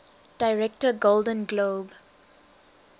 director golden globe